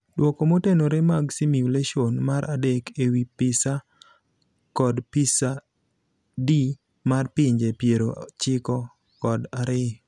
Duoko motenore mag simulation mar adek ewii PISA kod PISA-D mar pinje piero chiko kod ariyo.